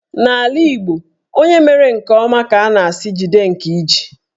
N'ala Igbo, onye mere nke ọma ka a na-asị "jide nke iji"